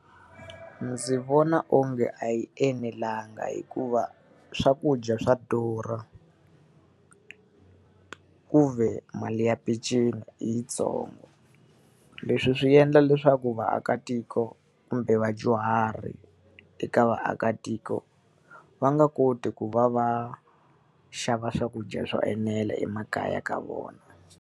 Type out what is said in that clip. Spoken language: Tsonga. Ndzi vona onge a yi enelanga hikuva swakudya swa durha, ku ve mali ya peceni i yitsongo. Leswi swi endla leswaku vaakatiko kumbe vadyuhari eka vaakatiko, va nga koti ku va va xava swakudya swo enela emakaya ka vona.